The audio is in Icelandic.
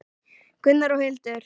Gunnar og Hildur.